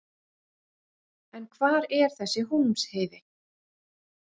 En hvar er þessi Hólmsheiði?